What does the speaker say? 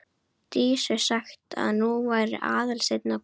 Dísu sagt að nú væri Aðalsteinn að koma.